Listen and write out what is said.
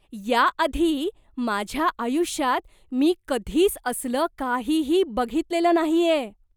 याआधी माझ्या आयुष्यात मी कधीच असलं काहीही बघितलेलं नाहीये.